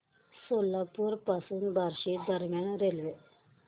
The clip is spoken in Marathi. सोलापूर पासून बार्शी दरम्यान रेल्वे